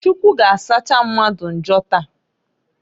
Chukwu g'asacha mmadụ njọ taa.